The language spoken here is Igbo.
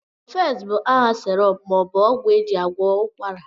Cofex bụ aha syrp maọbụ ọgwụ ejị agwọ ụkwara